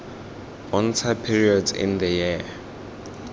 bontsha periods in the year